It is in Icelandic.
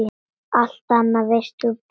Allt annað veist þú Pétur.